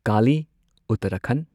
Kali Uttarakhand